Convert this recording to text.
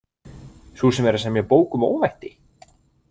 Sú sem er að semja bók um óvætti?